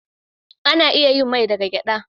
Ana iya yin mai daga gyaɗa.